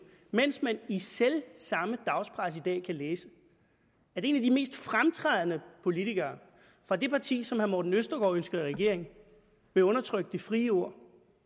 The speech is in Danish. mens man i selv samme dagspresse i dag kan læse at en af de mest fremtrædende politikere fra det parti som herre morten østergaard ønsker i regering vil undertrykke det frie ord